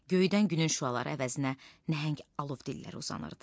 Göydən günün şüaları əvəzinə nəhəng alov dillər uzanırdı.